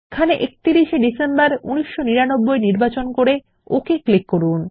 এখানে আমরা 31 শে ডিসেম্বর 1999 নির্বাচন করে ওকে ক্লিক করুন